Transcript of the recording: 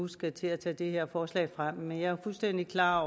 skal til at tage det her forslag frem men jeg er fuldstændig klar